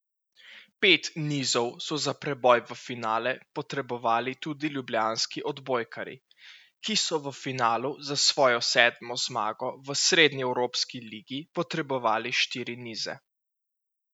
Pet nizov so za preboj v finale potrebovali tudi ljubljanski odbojkarji, ki so v finalu za svojo sedmo zmago v srednjeevropski ligi potrebovali štiri nize.